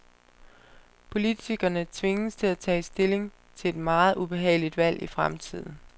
Politikerne tvinges til at tage stilling til et meget ubehageligt valg i fremtiden.